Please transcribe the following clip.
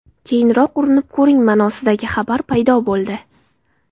Keyinroq urinib ko‘ring”, ma’nosidagi xabar paydo bo‘ldi.